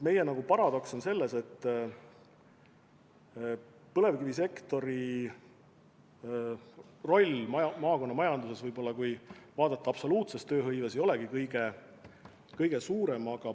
Meie paradoks on selles, et põlevkivisektori roll maakonna majanduses, kui vaadata absoluutset tööhõivet, ei ole kõige suurem.